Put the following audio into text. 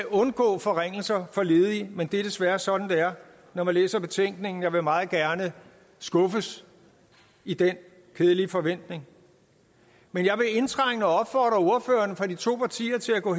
undgå forringelser men det er desværre sådan det er når man læser betænkningen jeg vil meget gerne skuffes i den kedelige forventning men jeg vil indtrængende opfordre ordførerne for de to partier til at gå